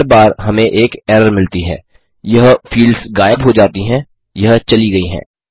हर बार हमें एक एरर मिलती है यह फील्ड्स गायब हो जाती हैं यह चली गयी हैं